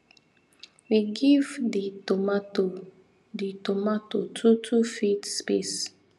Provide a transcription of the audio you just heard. we give di tomato di tomato two two feet space